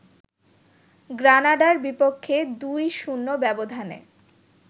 গ্রানাডার বিপক্ষে ২-০ ব্যবধানে